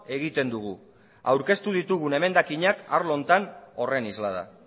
egiten dugu aurkeztu ditugun emendakinak arlo honetan horren isla da